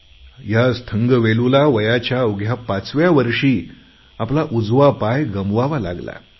आणि ह्या थंगवेलूला वयाच्या अवघ्या पाचव्या वर्षी आपला उजवा पाय गमवावा लागला